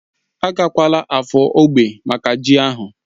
Agakwala Afo ógbè maka ji ahu?